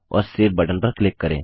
और save button पर click करें